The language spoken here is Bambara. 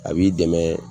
A b'i dɛmɛ